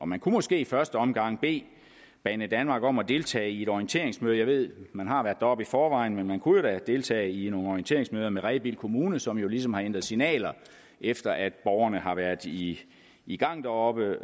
man kunne måske i første omgang bede banedanmark om at deltage i et orienteringsmøde jeg ved man har været deroppe i forvejen men man kunne deltage i nogle orienteringsmøder med rebild kommune som jo ligesom har ændret signaler efter at borgerne har været i i gang deroppe